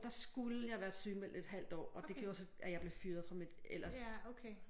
Der skulle jeg være sygemeldt et halvt år og det gjorde så at jeg blev fyret fra mit ellers